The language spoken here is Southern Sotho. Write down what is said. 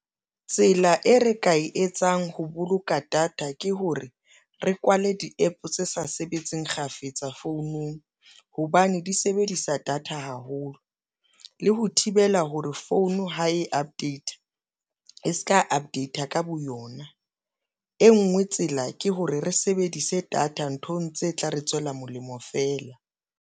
Tsela e re ka e etsang ho boloka data ke hore re kwale di-APP tse sa sebetseng kgafetsa founung, hobane di sebedisa data haholo le ho ho thibela hore founu ha e update e se ka update-a ka bo yona, e ngwe tsela ke hore re sebedise data nthong tse tla re tswela molemo feela.